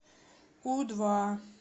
у два